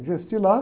Investi lá.